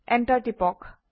enter টিপক